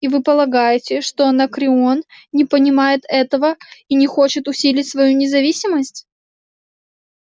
и вы полагаете что анакреон не понимает этого и не хочет усилить свою независимость